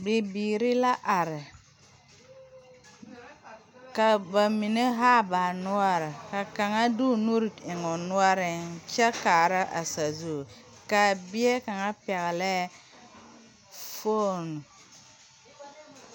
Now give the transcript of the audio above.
Bibiiri la are, ka ba mine haa ba noɔre ka kaŋa de o nuuri eŋe o noɔreŋ kyɛ kaara a sazu a bie kaŋa pɛgele la fone.